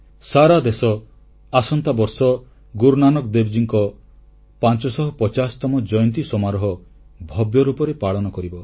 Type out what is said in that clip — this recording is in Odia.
ସାରା ଦେଶ ଆସନ୍ତା ବର୍ଷ ଗୁରୁ ନାନକ ଦେବଙ୍କ 550ତମ ଜୟନ୍ତୀ ସମାରୋହ ଭବ୍ୟରୂପରେ ପାଳନ କରିବ